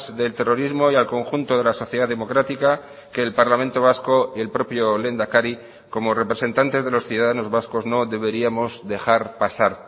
del terrorismo y al conjunto de la sociedad democrática que el parlamento vasco y el propio lehendakari como representantes de los ciudadanos vascos no deberíamos dejar pasar